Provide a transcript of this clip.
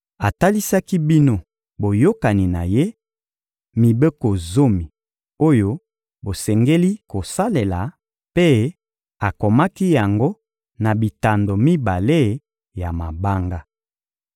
Atalisaki bino boyokani na Ye, mibeko zomi oyo bosengeli kosalela, mpe akomaki yango na bitando mibale ya mabanga.